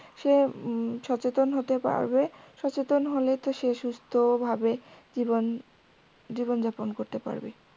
সে উম সচেতন হতে পারবে সচেতন হলেই তো সে সুস্থ ভাবে জীবন জীবন যাপন করতে পারবে